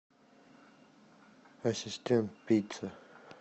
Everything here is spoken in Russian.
ассистент пицца